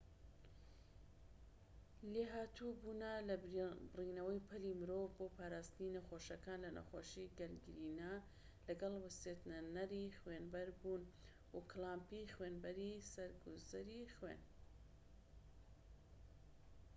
لێھاتوو بوونە لە بڕینەوەی پەلی مرۆڤ بۆ پاراستنی نەخۆشەکان لە نەخۆشی گەنگرینا لەگەڵ وەستێنەری خوێنبەربوون و کلامپی خوێنبەری سەر گوزەری خوێن